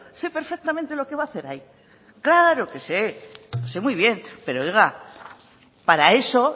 sé perfectamente lo que va a hacer ahí claro que sé sé muy bien pero oiga para eso